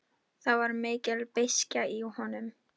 Karítas, lækkaðu í græjunum.